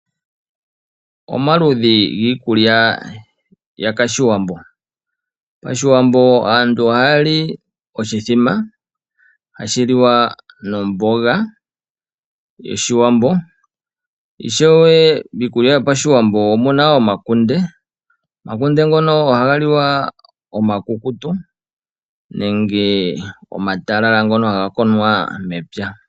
Omaludhi giikulya yakashiwambo. Pashiwambo aantu ohaa li oshithima, ha shi liwa nomboga yoshiwambo, ishewe miikulya yopashiwambo omu na omakunde. Omakunde ngono oha ga liwa omakukutu nenge omatalala ngono ha ga konwa mepya